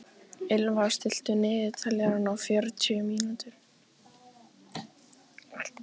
Ylfa, stilltu niðurteljara á fjörutíu og fjórar mínútur.